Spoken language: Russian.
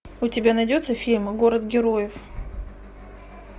у тебя найдется фильм город героев